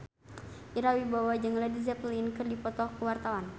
Ira Wibowo jeung Led Zeppelin keur dipoto ku wartawan